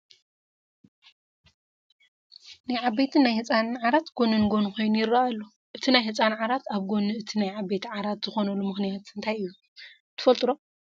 ናይ ዓበይትን ናይ ህፃንን ዓራት ጐኒ ንጐኒ ኾይኑ ይርአ ኣሎ፡፡ እቲ ናይ ህፃን ዓራት ኣብ ጐኒ እቲ ናይ ዓበይቲ ዓራት ዝኾነሉ ምኽንያት ታይ እዩ?